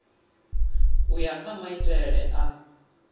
u ya kha maitele a